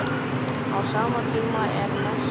Á sama tíma er messa.